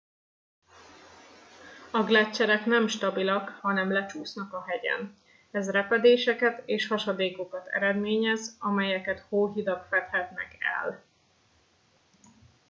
a gleccserek nem stabilak hanem lecsúsznak a hegyen ez repedéseket és hasadékokat eredményez amelyeket hóhidak fedhetnek el